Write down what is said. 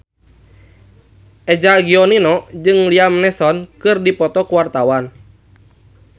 Eza Gionino jeung Liam Neeson keur dipoto ku wartawan